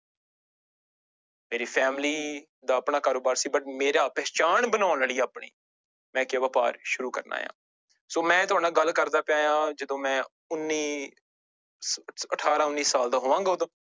ਮੇਰੀ family ਦਾ ਆਪਣਾ ਕਾਰੋਬਾਰ ਸੀ but ਮੇਰਾ ਪਹਿਚਾਣ ਬਣਾਉਣ ਲਈ ਆਪਣੀ ਮੈਂ ਕਿਹਾ ਵਾਪਾਰ ਸ਼ੁਰੂ ਕਰਨਾ ਹੈ ਸੋ ਮੈਂ ਤੁਹਾਡੇ ਨਾਲ ਗੱਲ ਕਰਦਾਂ ਪਿਆਂ ਹਾਂ ਜਦੋਂ ਮੈਂ ਉੱਨੀ ਅਠਾਰਾਂ ਉੱਨੀ ਸਾਲ ਦਾ ਹੋਵਾਂਗਾ ਉਦੋਂ।